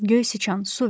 Göy sıçan, su ver!